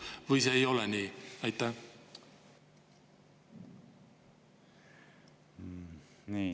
Või see ei ole nii?